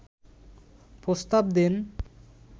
প্রস্তাব দেন